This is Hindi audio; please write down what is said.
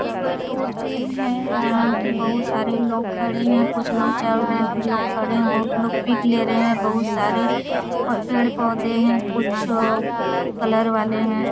यहां कोई टूर टीम है जहां की बहुत सारे लोग खड़े हैं कुछ लोग चल रहे हैं कुछ लोग खड़े हैं बहुत लोग पीक ले रहे है बहुत सारे पेड़-पौधे हैं कुछ कलर वाले हैं।